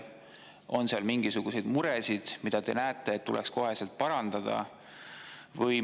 On seal mingisuguseid mure, mida te näete, et tuleks koheselt parandada?